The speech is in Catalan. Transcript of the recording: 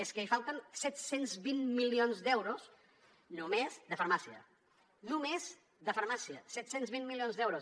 és que hi falten set cents i vint milions d’euros només de farmàcia només de farmàcia set cents i vint milions d’euros